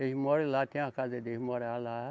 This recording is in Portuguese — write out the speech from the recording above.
Eles moram lá, tem a casa deles morar lá.